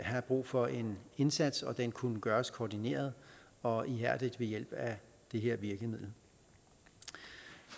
her er brug for en indsats og at den kunne gøres koordineret og ihærdigt ved hjælp af det her virkemiddel jeg